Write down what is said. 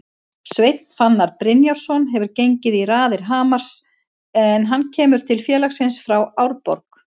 Sveinn Fannar Brynjarsson hefur gengið í raðir Hamars en hann kemur til félagsins frá Árborg.